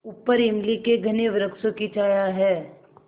ऊपर इमली के घने वृक्षों की छाया है